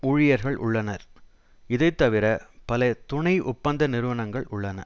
ஊழியர்கள் உள்ளனர் இதைத்தவிர பல துணை ஒப்பந்த நிறுவனங்கள் உள்ளன